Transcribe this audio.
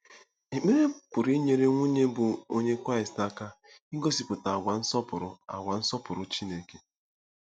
Ekpere pụrụ inyere nwunye bụ́ Onye Kraịst aka igosipụta àgwà nsọpụrụ àgwà nsọpụrụ Chineke.